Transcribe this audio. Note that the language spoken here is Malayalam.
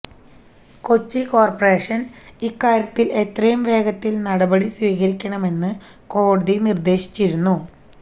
കൊച്ചി കോര്പറേഷന് ഇക്കാര്യത്തില് എത്രയും വേഗത്തില് നടപടി സ്വീകരിക്കണമെന്ന് കോടതി നിര്ദേശിച്ചിരുന്നു